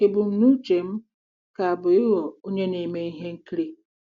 Ebumnuche m ka bụ ịghọ onye na-eme ihe nkiri.